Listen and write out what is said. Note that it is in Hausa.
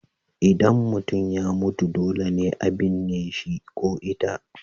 Idan mutum ya mutu dole ne a binne shi ko ita.